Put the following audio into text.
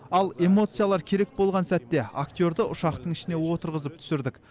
ал эмоциялар керек болған сәтте актерді ұшақтың ішіне отырғызып түсірдік